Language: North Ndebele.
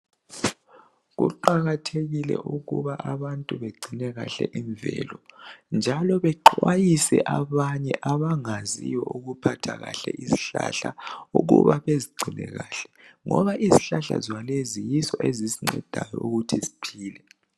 Kuqakathekile ukuba abantu begcine kahle imvelo njalo bexwayise abanye abangaziyo ukuphatha kahle izihlahla ukuba bezigcine kahle ngoba izihlahla zona lezi yizo ezisincedayo ukuthi siphile.